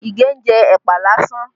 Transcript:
Ige ń jẹ ẹ̀pà lásán